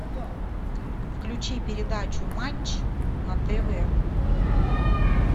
включи передачу матч на тв